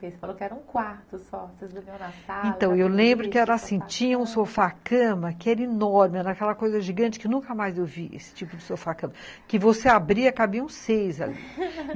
Você falou que era um quarto só, você dormia na sala... Então, eu lembro que era assim, tinha um sofá-cama que era enorme, era aquela coisa gigante que nunca mais eu vi, esse tipo de sofá-cama, que você abria, cabiam seis ali